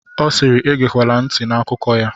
Ọ siiri, egekwala ntị n'akụkọ ya!